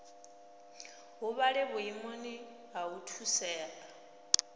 huvhale vhuimoni ha u thusea